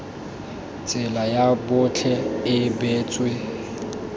tsela ya botlhe e beetswe